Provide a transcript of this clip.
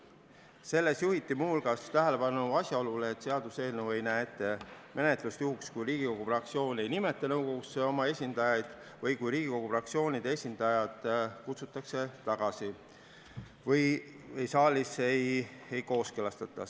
Selles juhiti muu hulgas tähelepanu asjaolule, et seaduseelnõu ei näe ette menetlust juhuks, kui Riigikogu fraktsioon ei nimeta nõukogusse oma esindajaid või kui Riigikogu fraktsioonide esindajad kutsutakse tagasi või saalis neid ei kooskõlastata.